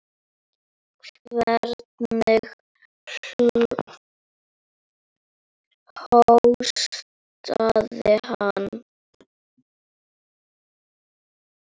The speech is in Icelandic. Hvernig hóstaði hann.